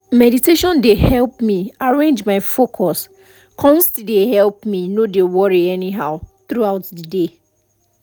meditation dey help me arrange my focus come still dey help no dey worry anyhow throughout the day